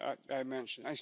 I mentioned.